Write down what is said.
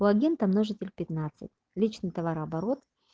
логин там множитель пятнадцать личный товарооборот